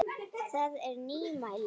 Það er nýmæli.